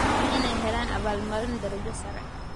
Waa inay helaan abaalmarino darajo sare.